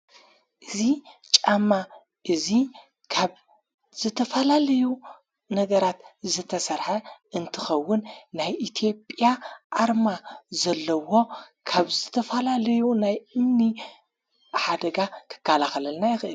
እዙ ጫማ እዙይ ካብ ዝተፋላለዩ ነገራት ዘተሠርሐ እንትኸውን፤ ናይ ኢትዮጵያ ኣርማ ዘለዎ ካብ ዘተፋላለዩ ናይ እምኒ ሓደጋ ክካላኸለልና ይኽእል።